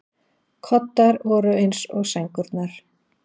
Koddar voru eins og sængurnar.